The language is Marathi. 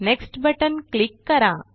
नेक्स्ट बटन क्लिक करा